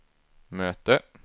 möte